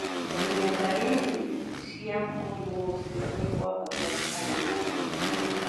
Kũmenya darĩrĩ cĩa mũrimũ ũcio nĩ kwa bata harĩ ũgima wa mwĩrĩ